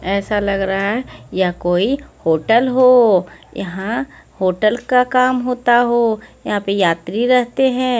ऐसा लग रहा है यह कोई होटल हो यहां होटल का काम होता हो यहां पे यात्री रहते हैं।